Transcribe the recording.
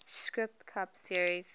sprint cup series